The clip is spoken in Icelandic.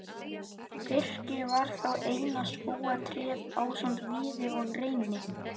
Birki var þá eina skógartréð ásamt víði og reyni.